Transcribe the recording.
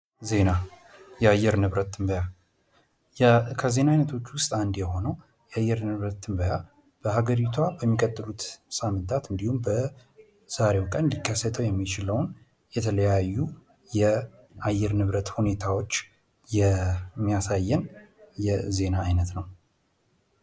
ዜና፤ የአየር ንብረት ትንበያ ከ ዜና አይነቶች ውስጥ እንዲሆኑ የአየር ንብረት ትንበያ በሀገሪቷ በሚቀጥለው ሳምንታት እንዲሁም በዛሬው ቀን ሊከሰተው የሚችል የተለያዩ አየር ንብረት ሁኔታዎች የሚያሳየን የዜና ዓይነት ነው።